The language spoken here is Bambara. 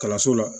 Kalanso la